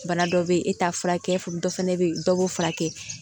Bana dɔ bɛ yen e t'a furakɛ dɔ fana bɛ yen dɔ b'o furakɛ